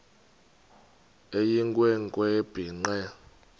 eyinkwe nkwe ebhinqe